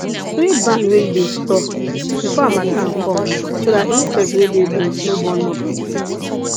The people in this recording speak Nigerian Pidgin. sweep barn wey you dey store before harmattan come so dat insect wey dey beans no born more pikin